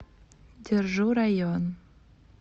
держу район